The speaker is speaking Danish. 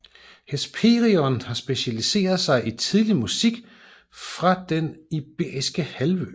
Hesperion har specialiseret sig i tidlig musik fra Den Iberiske Halvø